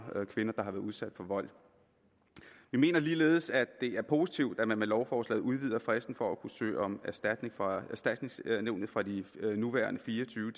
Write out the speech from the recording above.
kvinder der har været udsat for vold vi mener ligeledes at det er positivt at man med lovforslaget udvider fristen for at kunne søge om erstatning fra erstatningsnævnet fra de nuværende fire og tyve